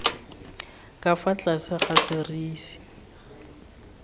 ka fa tlase ga serisi